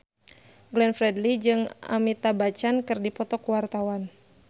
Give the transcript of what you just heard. Glenn Fredly jeung Amitabh Bachchan keur dipoto ku wartawan